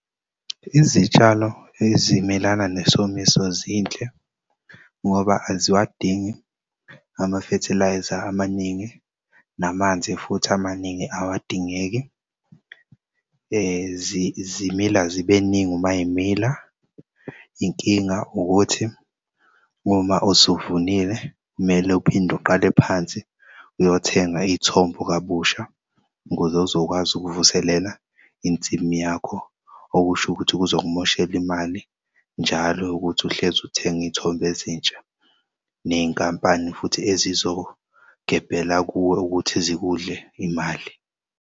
Izitshalo ezimelana nesomiso zinhle ngoba aziwadingi ama-fertiliser amaningi, namanzi futhi amaningi awadingeki, zimila zibeningi uma zimila. Inkinga ukuthi uma usuvunile kumele uphinde uqale phansi uyothenga iy'thombo kabusha ukuze uzokwazi ukuvuselela insimu yakho, okusho ukuthi kuzokumoshela imali njalo ukuthi uhlezi utheng'iy'thombe ezintsha, ney'nkampani futhi ezizogebhela kuwe ukuthi zikudle imali.